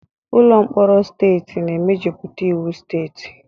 Ụlọ mkpọrọ steeti na-emejuputa iwu steeti.